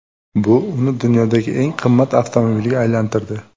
Bu uni dunyodagi eng qimmat avtomobilga aylantirdi.